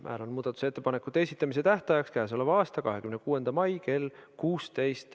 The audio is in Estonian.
Määran muudatusettepanekute esitamise tähtajaks k.a 26. mai kell 16.